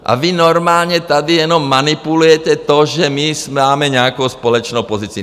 A vy normálně tady jenom manipulujete to, že my máme nějakou společnou pozici.